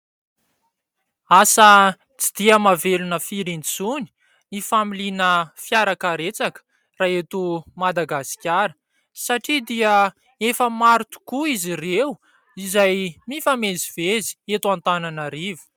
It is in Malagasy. Asa tsy dia mahavelona firy intsony ny familiana fiara karetsaka raha eto Madagasikara satria dia efa maro tokoa izy ireo izay mifamezivezy eto Antananarivo.